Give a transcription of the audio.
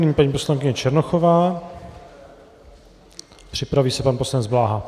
Nyní paní poslankyně Černochová, připraví se pan poslanec Bláha.